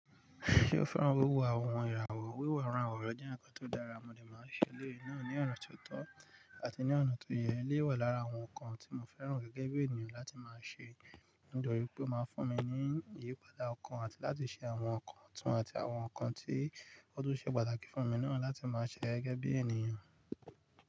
Ṣé o fẹ́ràn wíwo àwọn ìràwọ̀? Wíwọ àwọn ìràwọ̀ jẹ́ ǹkan tó dára, mọ dé máa ń ṣe ilé náà ní ọ̀nà tó tọ́ àti ní ọ̀nà tó yẹ. Ilé wà lára àwọn ǹkan tí mo fẹ́ràn gẹ́gẹ́ bí ènìyàn láti máa ṣe nítorí pé ó máa ń fún mi ní ìyípadà ọkàn àti láti ṣe àwọn ǹkan ọ̀tún àti àwọn ǹkan tí ó tún ṣe pàtàkì fún mi náà láti máa ṣẹ́ gẹ́gẹ́ bí ènìyàn.